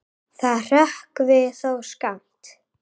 Það hrökkvi þó skammt.